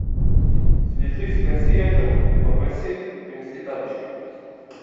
свяжись с консьержем и попроси принести тапочки